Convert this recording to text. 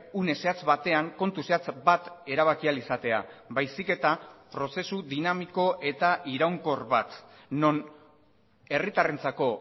une zehatz batean kontu zehatz bat erabaki ahal izatea baizik eta prozesu dinamiko eta iraunkor bat non herritarrentzako